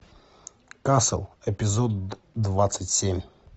касл эпизод двадцать семь